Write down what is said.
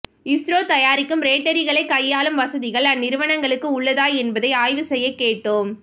இஸ்ரோ தயாரிக்கும் பேட்டரிகளை கையாளும் வசதிகள் அந்நிறுவன்களுக்கு உள்ளதா என்பதை ஆய்வு செய்ய கேட்டோம்